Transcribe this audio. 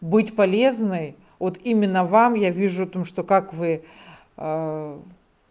быть полезной вот именно вам я вижу о то что как вы